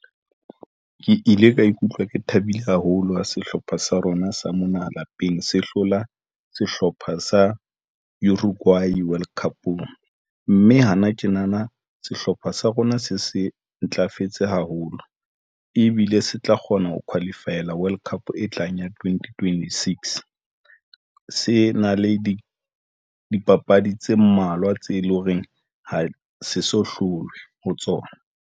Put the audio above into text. Ke ile ka ikutlwa ke thabile haholo ha sehlopha sa rona sa mona lapeng se hlola sehlopha sa Uruguay World Cup-ong mme hana tjena na, sehlopha sa rona se se ntlafetse haholo ebile se tla kgona ho qualify-ela World Cup e tlang ya twenty twenty six se na le di dipapadi tse mmalwa tse leng hore ha se so hlolwe ho tsona.